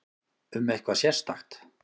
Um eitthvað sérstakt?